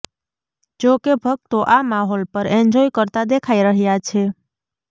જો કે ભક્તો આ માહોલ પણ એન્જોય કરતા દેખાઈ રહ્યા છે